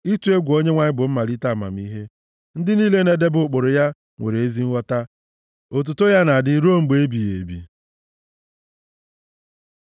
Ịtụ egwu Onyenwe anyị bụ mmalite amamihe; ndị niile na-edebe ụkpụrụ ya nwere ezi nghọta. Otuto ya na-adị ruo mgbe ebighị ebi.